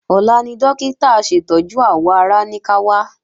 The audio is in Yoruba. Ọ̀la ni Dókítà aṣètọ́jú àwọ̀ ara ní ká wá